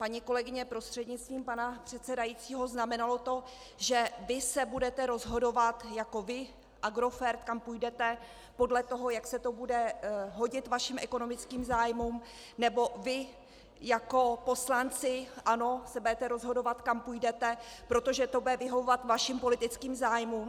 Paní kolegyně prostřednictvím pana předsedajícího, znamenalo to, že vy se budete rozhodovat jako vy Agrofert, kam půjdete, podle toho, jak se to bude hodit vašim ekonomickým zájmům, nebo vy jako poslanci ANO se budete rozhodovat, kam půjdete, protože to bude vyhovovat vašim politickým zájmům?